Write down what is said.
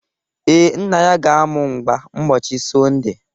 Ee, Nna ya ga-amụ mgba ụbọchị Sọnde